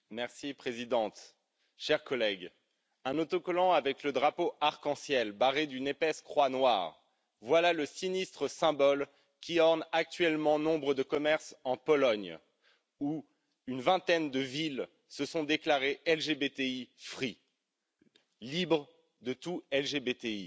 Madame la Présidente, chers collègues, un autocollant avec le drapeau arc en ciel barré d'une épaisse croix noire, voilà le sinistre symbole qui orne actuellement nombre de commerces en Pologne, où une vingtaine de villes se sont déclarées libres de tout LGBTI.